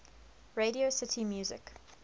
radio city music